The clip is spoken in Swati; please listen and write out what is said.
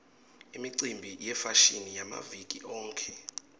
imicimbi yefashini yamaviki onkhe